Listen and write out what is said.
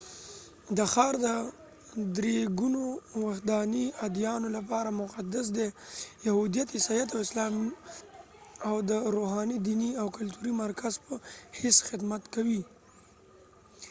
دا ښار د درېګونو وحدانی اديانو لپاره مقدس دي، یهوديت، عیسایت، او اسلام او د روحانی، دينی او کلتوری مرکز په حیث خدمت کوي